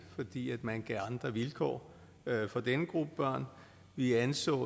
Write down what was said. fordi man gav andre vilkår for denne gruppe børn vi anså